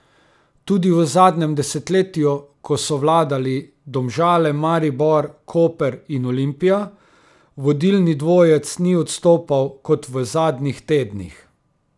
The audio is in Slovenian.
Tudi v zadnjem desetletju, ko so vladali Domžale, Maribor, Koper in Olimpija, vodilni dvojec ni odstopal kot v zadnjih tednih.